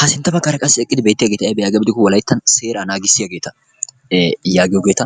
Ha sintta baggara qassi eqqidi betiyageti aybe giko wolayttan seeraa naagissiyageeta ee yagiyogeeta.